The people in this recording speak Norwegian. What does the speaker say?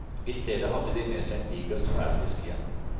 I stedet hadde de med seg en diger sverdfisk hjem.